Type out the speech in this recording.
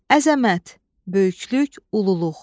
Əzəmət, böyüklük, ululuq.